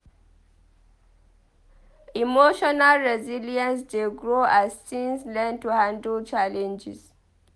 Emotional resilience dey grow as teens learn to handle challenges.